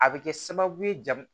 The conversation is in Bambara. A bɛ kɛ sababu ye jamu